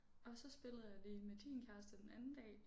Og så spillede jeg lige med din kæreste den anden dag